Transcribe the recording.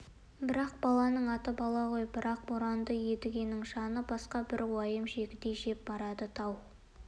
бірақ баланың аты бала ғой бірақ боранды едігенің жанын басқа бір уайым жегідей жеп барады тау